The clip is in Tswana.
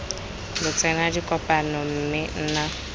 lo tsena dikopano mme nna